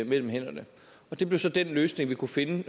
mellem hænderne og det blev så den løsning vi kunne finde